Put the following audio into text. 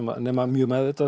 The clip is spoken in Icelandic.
nema mjög meðvitað